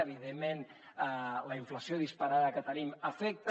evidentment la inflació disparada que tenim afecta